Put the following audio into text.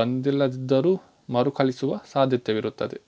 ಬಂದಿಲ್ಲದಿದ್ದರೂ ಮರುಕಳಿಸುವ ಸಾಧ್ಯತೆಯಿರುತ್ತದೆ